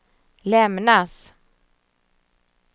lämnas